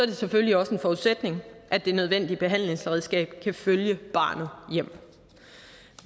det selvfølgelig også en forudsætning at det nødvendige behandlingsredskab kan følge barnet hjem